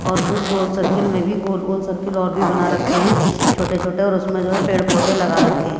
और उस गोल सर्किल में भी गोल-गोल सर्किल और भी बना रखे हैं छोटे-छोटे और उसमें जो है पेड़-पौधे लगा रखे हैं।